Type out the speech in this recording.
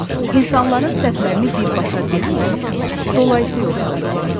İnsanların səhvlərini birbaşa deyil, dolayısi yolla bildirin.